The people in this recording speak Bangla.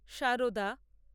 সারদা